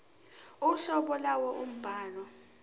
uhlobo lwalowo mbhalo